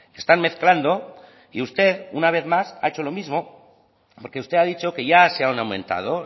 están mezclando y usted una vez más ha hecho lo mismo porque usted ha dicho que ya se han aumentado